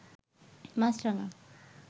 মাছরাঙা